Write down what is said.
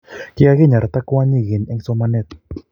kikakinyarta kwonyit keny en somanee